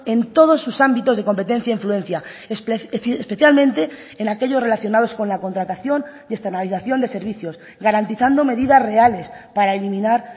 en todos sus ámbitos de competencia e influencia especialmente en aquellos relacionados con la contratación y externalización de servicios garantizando medidas reales para eliminar